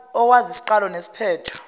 owazi isiqalo nesiphetho